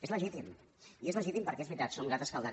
és legítim i és legítim perquè és veritat som un gat escaldat